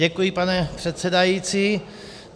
Děkuji, pane předsedající.